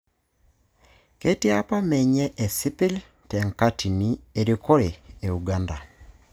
Ketii apa menye esipil te nkatini erikore e Uganda.